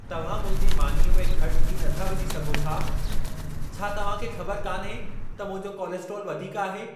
तव्हां मुंहिंजी मानीअ में घटि घी नथा विझी सघो छा? छा तव्हां खे ख़बर कान्हे त मुंहिंजो कोलेस्ट्रोल वधीक आहे?